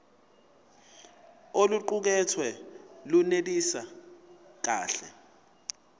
oluqukethwe lunelisi kahle